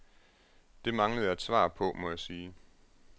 Det manglede jeg et svar på, må jeg sige.